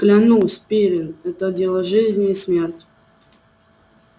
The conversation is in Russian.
клянусь пиренн это дело жизни и смерти